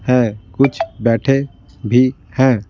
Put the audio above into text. हैं कुछ बैठे भी हैं।